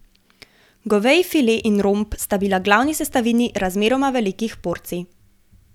Goveji file in romb sta bila glavni sestavini razmeroma velikih porcij.